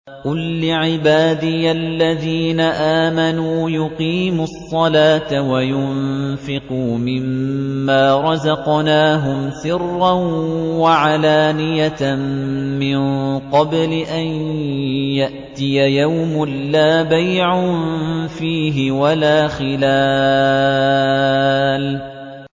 قُل لِّعِبَادِيَ الَّذِينَ آمَنُوا يُقِيمُوا الصَّلَاةَ وَيُنفِقُوا مِمَّا رَزَقْنَاهُمْ سِرًّا وَعَلَانِيَةً مِّن قَبْلِ أَن يَأْتِيَ يَوْمٌ لَّا بَيْعٌ فِيهِ وَلَا خِلَالٌ